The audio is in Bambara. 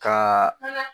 Ka